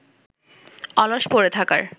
অলস পড়ে থাকার